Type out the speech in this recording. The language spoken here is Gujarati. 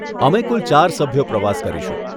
અમે કુલ ચાર સભ્યો પ્રવાસ કરીશું.